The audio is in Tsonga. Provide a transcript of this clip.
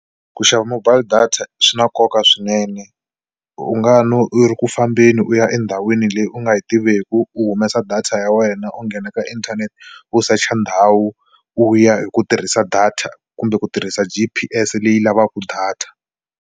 Ku xava mobile data swi na nkoka swinene u nga no u ri ku fambeni u ya endhawini leyi u nga yi tiveku u humesa data ya wena u nghena ka inthanete u secha ndhawu u ya hi ku tirhisa data kumbe ku tirhisa G_P_S leyi lavaka data.